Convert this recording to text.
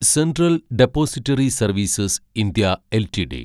central depository services (India) LTD